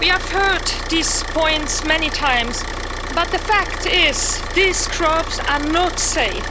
We have heard these points many times, but the fact is that these crops are not safe.